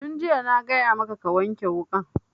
Tun jiya na gaya maka ka wanke wukan